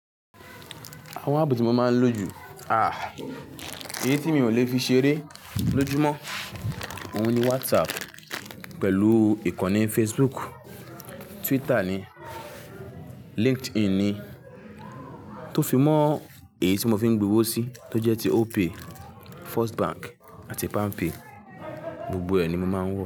Àwọn ààpu tí mo máa ń lò jù, èyí tí mi ò lè fi ṣeré lójúmọ́, òun ni WhatsApp pẹ̀lú ìkànnì Facebook, Twitter ni, LinkedIn ni. Tó fi mọ èyí tí mo fi ń gbinwọ́ sí tó jẹ́ ti Opay, First Bank àti PalmPay. Gbogbo ẹ̀ ni mo máa ń wọ̀